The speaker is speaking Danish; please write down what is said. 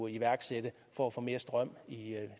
iværksætte for at få mere strøm i